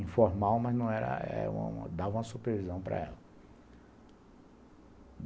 Informal, mas dava uma supervisão para ela.